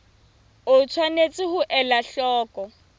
o tshwanetse ho ela hloko